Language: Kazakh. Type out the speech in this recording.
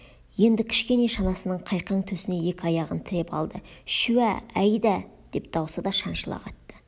енді кішкене шанасының қайқаң төсіне екі аяғын тіреп алды шуә-ә айда-а деп даусы да шаншыла қатты